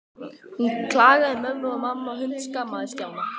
Hún klagaði í mömmu og mamma hundskammaði Stjána.